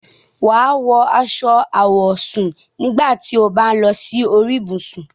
Wà á wọ aṣọ àwọ̀sùn nígbà tí o bá ń lọ sí orí ibùsùn.